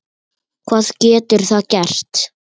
Hvað getur það gert?